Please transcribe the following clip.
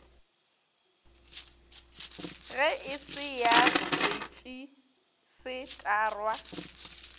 ge e se ya retšisetarwa